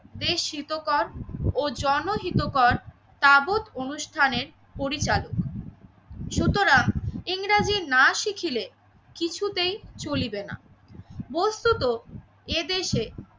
দেশ শীতকর ও জনহিতকর তাবৎ অনুষ্ঠানের পরিচালক সুতরাং ইংরেজি না শিখিলে কিছুতেই চলিবে না। বস্তুত এদেশে